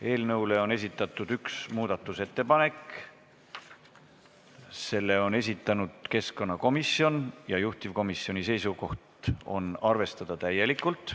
Eelnõu kohta on esitatud üks muudatusettepanek, selle on esitanud keskkonnakomisjon ja juhtivkomisjoni seisukoht on arvestada täielikult.